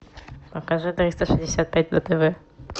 покажи триста шестьдесят пять на тв